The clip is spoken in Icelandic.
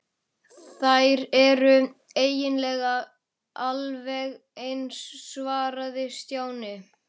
Þær eru eiginlega alveg eins svaraði Stjáni.